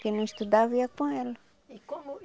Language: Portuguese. Quem não estudava, ia com ela.